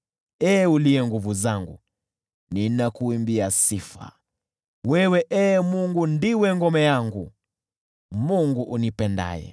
Ee uliye Nguvu zangu, ninakuimbia sifa. Wewe, Ee Mungu, ndiwe ngome yangu, Mungu unipendaye.